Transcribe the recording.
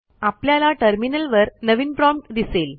आपल्याला टर्मिनलवर नवीन प्रॉम्प्ट दिसेल